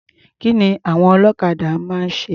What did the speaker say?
Kí ni àwon ọlọ́kadà máa ń ṣe?